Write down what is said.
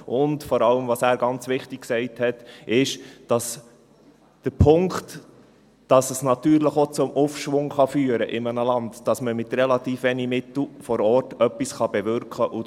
Und ganz wichtig ist vor allem, wie er gesagt hat, der Punkt, dass es natürlich auch zum Aufschwung führen kann in einem Land, dass man mit relativ wenigen Mitteln vor Ort etwas bewirken kann.